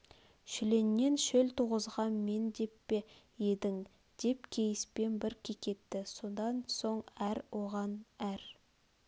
шүленнен шөл туғызған мен деп пе едің деп кейіспен бір кекетті содан соң әр оған әр